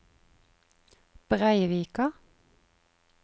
Breivika